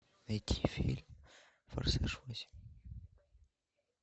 найти фильм форсаж восемь